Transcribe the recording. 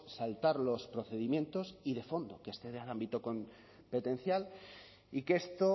saltar los procedimientos y de fondo que excede al ámbito competencial y que esto